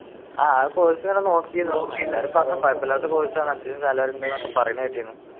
ആഹ് ഞാൻ നോക്കിയിരുന്നു എല്ലാരും പറഞ്ഞു കൊഴപ്പമില്ലാത്ത course ആണ് അത്യാവശ്യം salary ഉണ്ടെന്ന് പറയണ കേട്ടിരുന്നു.